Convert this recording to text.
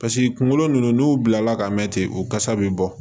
paseke kunkolo nunnu n'u bilala ka mɛn ten u kasa be bɔ